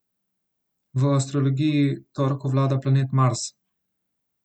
V astrologiji torku vlada planet Mars.